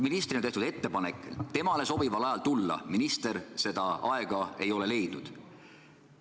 Ministrile on tehtud ettepanek tulla temale sobival ajal, minister seda aega leidnud ei ole.